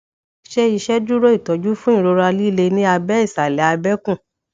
ṣe iṣeduro itọju fun irora lile ni abẹ ìṣàlà abẹkú